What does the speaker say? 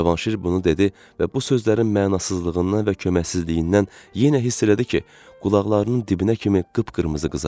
Cavanşir bunu dedi və bu sözlərin mənasızlığından və köməksizliyindən yenə hiss elədi ki, qulaqlarının dibinə kimi qıpqırmızı qızarıb.